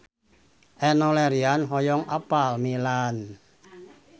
Enno Lerian hoyong apal Milan